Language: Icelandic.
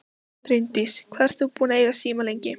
Bryndís: Hvað ert þú búinn að eiga síma lengi?